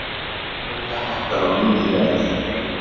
Hráolía hækkar á ný í verði